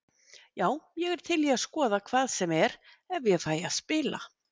Já ég er til í að skoða hvað sem er ef ég fæ að spila.